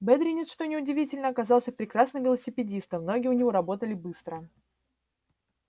бедренец что неудивительно оказался прекрасным велосипедистом ноги у него работали быстро